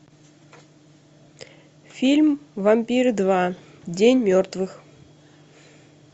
фильм вампиры два день мертвых